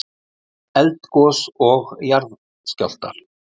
Eldgos og jarðskjálftar.